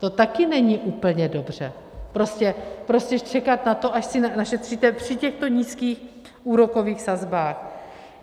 To taky není úplně dobře, prostě čekat na to, až si našetříte, při těchto nízkých úrokových sazbách.